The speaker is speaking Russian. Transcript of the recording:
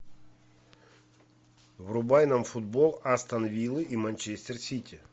врубай нам футбол астон виллы и манчестер сити